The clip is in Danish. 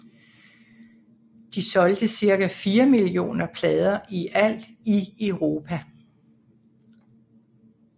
De solgte cirka 4 millioner plader i alt i Europa